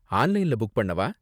ஆன்லைன்ல புக் பண்ணவா?